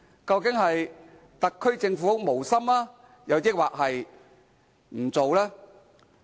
究竟特區政府是無心，還是不做？